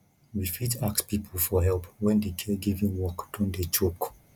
we fit ask pipo for help when di caregiving work don dey choke